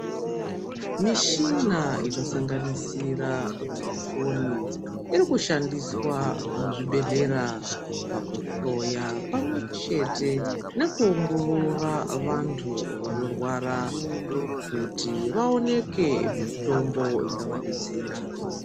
Mishina inosanganisira mafoni iri kushandiswa muzvibhedhlera pakuhloya pamwechete nekuongorora vantu vanorwara kuti vaoneke mitombo ingavadetsera.